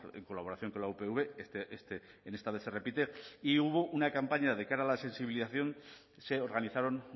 en colaboración con la upv en esta vez se repite y hubo una campaña de cara a la sensibilización se organizaron